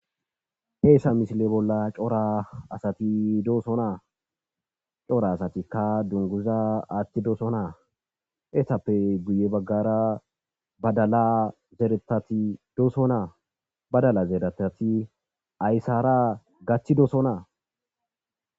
Heesa misile bolla cora asati dooso naa cora asatikka dunguza attidooso naa heesappe guye baggara badala zeretati dooso naa badala zeeretati ayssara gachchidooso naa.